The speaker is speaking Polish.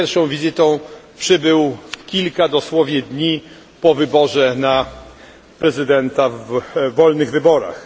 Z pierwszą wizytą przybył kilka dosłownie dni po wyborze na prezydenta w wolnych wyborach.